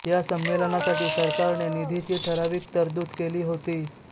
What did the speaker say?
या संमेलनासाठी सरकारने निधीची ठरावीक तरतूद केली होती